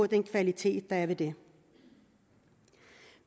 den kvalitet der er ved det